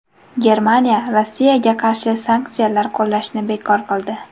Germaniya Rossiyaga qarshi sanksiyalar qo‘llashni bekor qildi.